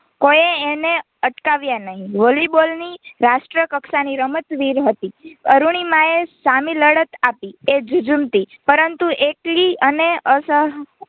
કોઈએ એને અટકાવ્યા નહીં વોલીબોલ ની રાષ્ટ્રકક્ષા ની રમતવીર હતી અરૂણિમા એ સામી લડત આપી એ ઝઝૂમતી પરંતુ એકલી અને